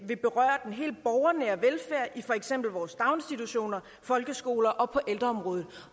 vil berøre den helt borgernære velfærd i for eksempel vores daginstitutioner folkeskoler og på ældreområdet